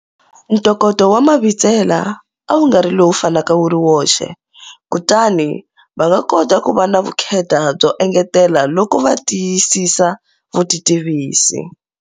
Ntokoto wa Mabitsela a wu nga ri lowu fanaka wu ri woxe. Kutani va nga kota ku va na vukheta byo engetela loko va tiyisisa vutitivisi.